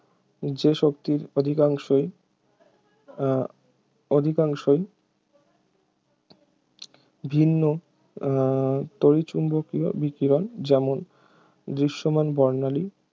যে শক্তির অধিকাংশই উহ অধিকাংশই ভিন্ন উহ তড়িচ্চুম্বকীয় বিকিরণ যেমন দৃশ্যমান বর্ণালী